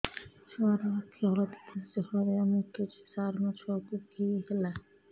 ଛୁଆ ର ଆଖି ହଳଦିଆ ଦିଶୁଛି ହଳଦିଆ ମୁତୁଛି ସାର ମୋ ଛୁଆକୁ କି ହେଲା